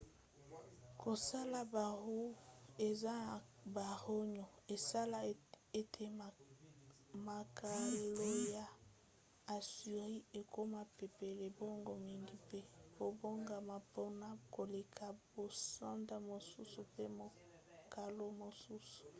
kosala baroues eza na barayons esala ete makalo ya assyrie ekoma pepele mbango mingi mpe ebongama mpona koleka basoda mosusu mpe makalo mosusu